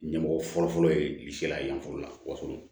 Ɲɛmɔgɔ fɔlɔfɔlɔ ye seere ye yanforo la wasolo